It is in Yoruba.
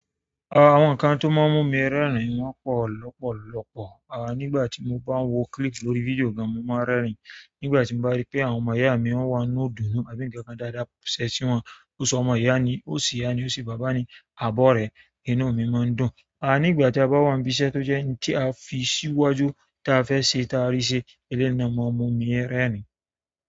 Àwọn nǹkan tó máa ń mú mi rẹ́rìn wọ́n pọ̀ lọ́pọ̀lọpọ̀. À nígbà tí mo bá ń wo clip lórí fídíò gan, mo máa ń rẹ́rìn. Nígbà tí mo bá rí pé àwọn ọmọ ìyá mi wọ́n wà nínú idunu, àbí ǹnkan kan dáadáa ṣẹlẹ̀ sí wọn, ó sọmọ iyání ó ṣe ìyá ni ó ṣe bàbá ni àbí orẹ̀, inú mi máa ń dùn. Ah ní ìgbà tí a bá wà ní ibi iṣẹ́ tó jẹ́ nǹkan tí a fi sí iwájú tí a fẹ́ ṣe tí a rí ṣe eleyi na má mú mi rẹ́rìn.